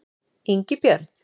Ingibjörn